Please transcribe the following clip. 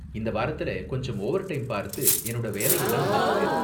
இந்த வாரத்துல கொஞ்சம் ஓவர்டைம் பார்த்து என்னோட வேலையெல்லாம் முடிச்சுட்டேன்.